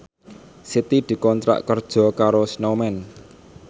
Siti dikontrak kerja karo Snowman